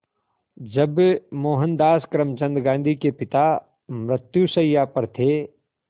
जब मोहनदास करमचंद गांधी के पिता मृत्युशैया पर थे